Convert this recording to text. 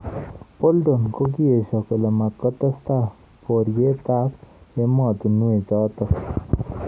Bolton kokiesho kole matkotestai boriet ab emotunwek chotok.